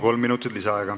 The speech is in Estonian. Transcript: Kolm minutit lisaaega.